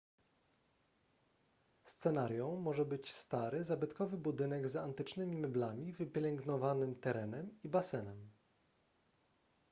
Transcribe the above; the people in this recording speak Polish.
scenarią może być stary zabytkowy budynek z antycznymi meblami wypielęgnowanym terenem i basenem